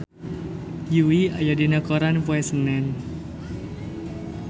Yui aya dina koran poe Senen